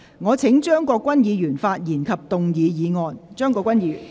我請張國鈞議員發言及動議議案。